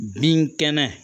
Binkɛnɛ